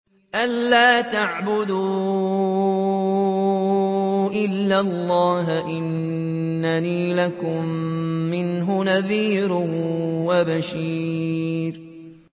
أَلَّا تَعْبُدُوا إِلَّا اللَّهَ ۚ إِنَّنِي لَكُم مِّنْهُ نَذِيرٌ وَبَشِيرٌ